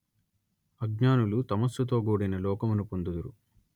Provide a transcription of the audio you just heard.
అజ్ఞానులు తమస్సుతోగూడిన లోకమున పొందుదురు